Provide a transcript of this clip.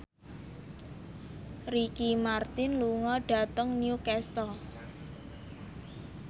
Ricky Martin lunga dhateng Newcastle